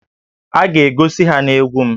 A ga-egosi ha na egwu m